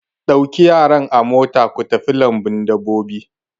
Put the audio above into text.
Ɗauki yaran a mota ku tafi lambun dabbobi!